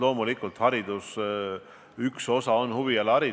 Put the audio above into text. Loomulikult, hariduse üks osa on huvialaharidus.